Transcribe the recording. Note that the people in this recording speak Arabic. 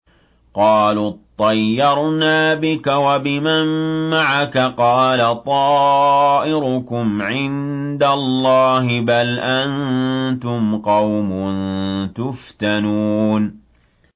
قَالُوا اطَّيَّرْنَا بِكَ وَبِمَن مَّعَكَ ۚ قَالَ طَائِرُكُمْ عِندَ اللَّهِ ۖ بَلْ أَنتُمْ قَوْمٌ تُفْتَنُونَ